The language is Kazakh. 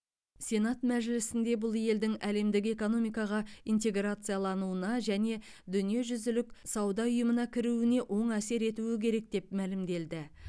сенат мәжілісінде бұл елдің әлемдік экономикаға интеграциялануына және дүниежүзілік сауда ұйымына кіруіне оң әсер етуі керек деп мәлімделді